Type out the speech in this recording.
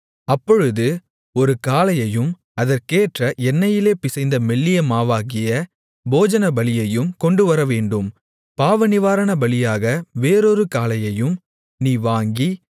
அப்பொழுது ஒரு காளையையும் அதற்கேற்ற எண்ணெயிலே பிசைந்த மெல்லியமாவாகிய போஜனபலியையும் கொண்டுவரவேண்டும் பாவநிவாரணபலியாக வேறொரு காளையையும் நீ வாங்கி